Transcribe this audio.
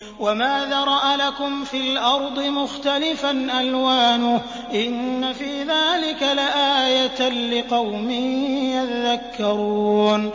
وَمَا ذَرَأَ لَكُمْ فِي الْأَرْضِ مُخْتَلِفًا أَلْوَانُهُ ۗ إِنَّ فِي ذَٰلِكَ لَآيَةً لِّقَوْمٍ يَذَّكَّرُونَ